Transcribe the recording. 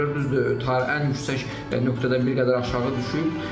Düzdür, ən yüksək nöqtədən bir qədər aşağı düşüb.